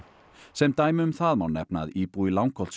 sem dæmi um það má nefna að íbúi í